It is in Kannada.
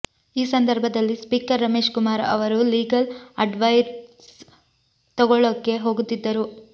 ಈ ಸಂದರ್ಭದಲ್ಲಿ ಸ್ಪೀಕರ್ ರಮೇಶ್ ಕುಮಾರ್ ಅವರು ಲೀಗಲ್ ಅಡ್ವೈಸ್ ತಗೊಳ್ಳೊಕೆ ಹೋಗುತ್ತಿದ್ದರು